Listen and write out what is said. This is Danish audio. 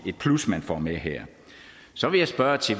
et plus man får med her så vil jeg spørge